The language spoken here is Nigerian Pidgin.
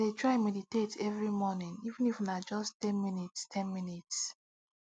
i dey try meditate every morning even if na just ten minutes ten minutes